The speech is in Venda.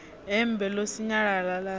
hembe ḽo sinyalala ḽa ri